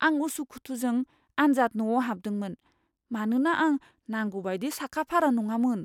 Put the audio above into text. आं उसुखुथुजों आनजाद न'आव हाबदोंमोन, मानोना आं नांगौ बायदि साखाफारा नङामोन।